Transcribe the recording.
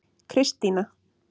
Kristína